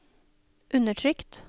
undertrykt